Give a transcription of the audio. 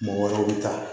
Mɔgɔ wɛrɛw bi taa